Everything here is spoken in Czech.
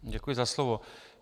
Děkuji za slovo.